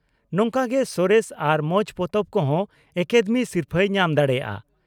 ᱱᱚᱝᱠᱟᱜᱮ ᱥᱚᱨᱮᱥ ᱟᱨ ᱢᱚᱸᱡᱽ ᱯᱚᱛᱚᱵ ᱠᱚᱦᱚᱸ ᱟᱠᱟᱫᱮᱢᱤ ᱥᱤᱨᱯᱷᱟᱹᱭ ᱧᱟᱢ ᱫᱟᱲᱮᱭᱟᱜᱼᱟ ᱾